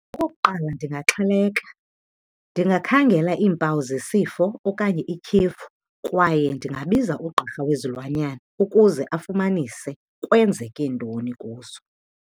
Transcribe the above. Okokuqala ndingaxheleka. Ndingakhangela iimpawu zesifo okanye ityhefu kwaye ndingabiza ugqirha wezilwanyana ukuze afumanise kwenzeke ntoni kuzo.